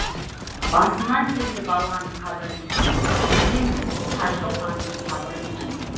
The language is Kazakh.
басына келді балан қабіріңнің сеземін сарқылғанын сабырыңның